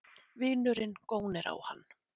Vinurinn gónir á hann.